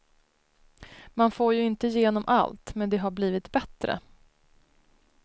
Man får ju inte igenom allt, men det har blivit bättre.